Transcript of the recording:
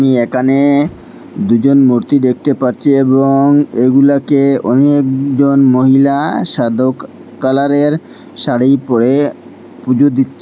আমি একানে দুজন মূর্তি দেখতে পারছি এবং এগুলাকে অনেকজন মহিলা সাধক কালারের শাড়ি পড়ে পুজো দিচ্ছেন।